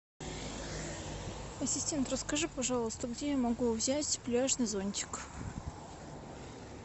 ассистент расскажи пожалуйста где я могу взять пляжный зонтик